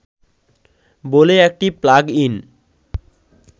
বলে একটি plug in